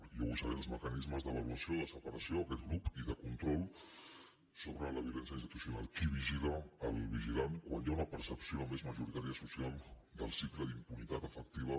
i jo vull saber els mecanismes d’avaluació de separació d’aquest grup i de control sobre la violència institucional qui vigila el vigilant quan hi ha una percepció més majoritària social del cicle d’impunitat efectiva